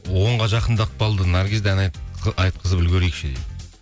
онға жақындап қалды наргизді ән айтқызып үлгерейікші дейді